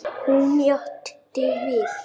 Hún játti því.